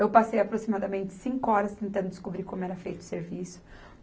Eu passei aproximadamente cinco horas tentando descobrir como era feito o serviço.